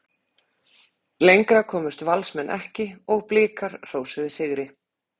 Lengra komust Valsmenn ekki og Blikar hrósuðu sigri.